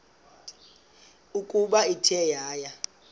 ukuba ithe yaya